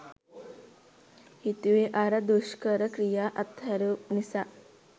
හිතුවේ අර දුෂ්කර ක්‍රියා අත්හැරපු නිසා